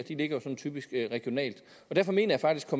de ligger typisk regionalt derfor mener jeg faktisk at